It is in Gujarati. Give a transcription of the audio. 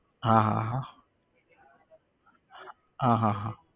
હા હા હા હા હા હા